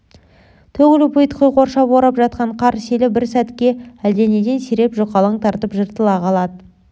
төгіліп ұйытқи қоршап орап жатқан қар селі бір сәтке әлденеден сиреп жұқалаң тартып жыртыла қалады